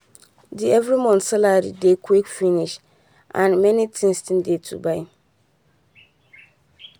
the every month salary dey quick finish and many things still dey to buy